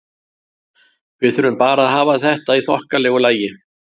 Við þurfum bara að hafa þetta í þokkalegu lagi.